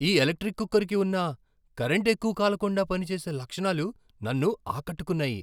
ఈ ఎలక్ట్రిక్ కుక్కర్కి ఉన్న కరెంటు ఎక్కువ కాలకుండా పనిచేసే లక్షణాలు నన్ను ఆకట్టుకున్నాయి!